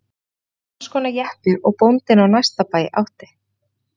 Þetta var sams konar jeppi og bóndinn á næsta bæ átti.